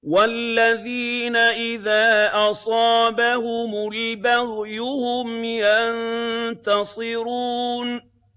وَالَّذِينَ إِذَا أَصَابَهُمُ الْبَغْيُ هُمْ يَنتَصِرُونَ